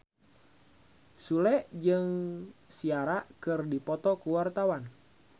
Sule jeung Ciara keur dipoto ku wartawan